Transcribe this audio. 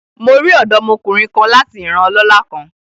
Mo ri ọdọmokunrin kan lati iran ọlọla kan